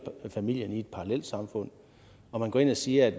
familien i et parallelsamfund og man går ind og siger at